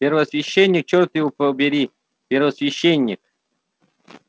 первосвященник чёрт его побери первосвященник